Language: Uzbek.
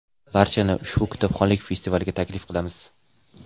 Barchani ushbu kitobxonlik festivaliga taklif qilamiz!.